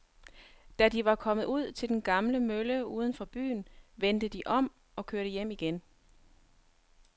Da de var kommet ud til den gamle mølle uden for byen, vendte de om og kørte hjem igen.